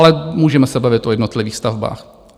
Ale můžeme se bavit o jednotlivých stavbách.